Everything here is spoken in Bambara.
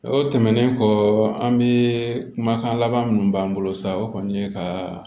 O tɛmɛnen kɔ an be kumakan laban minnu b'an bolo sa o kɔni ye ka